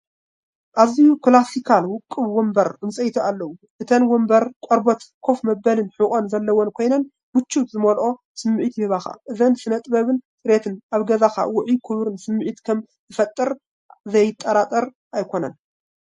ኣዝዩ ክላሲካልን ውቁብን ወንበር ዕንጨይቲ ኣለዉ፤ እተን መንበር ቆርበት ኮፍ መበሊን ሕቖን ዘለወን ኮይነን ምቾት ዝመልኦ ስምዒት ይህባ። እቲ ስነ-ጥበብን ጽሬትን ኣብ ገዛኻ ውዑይን ክቡርን ስምዒት ከም ዝፈጥር ዘጠራጥር ኣይኮነን፡፡